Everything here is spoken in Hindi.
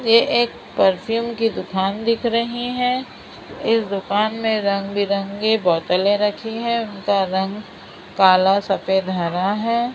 ए एक परफ्यूम की दुकान दिख रहीं हैं इस दुकान में रंग बिरंगी बोतलें रखी हुई हैं उनका रंग काला सफेद हरा है।